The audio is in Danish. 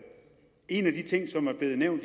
lave